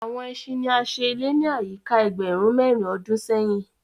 Àwọn ẹṣin ní a ṣe ilé ni ayika ẹgbẹrun mérin ọdún séhìn.